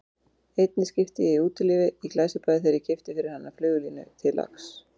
Einni skipti ég í Útilífi í Glæsibæ þegar ég keypti fyrir hana flugulínu til lax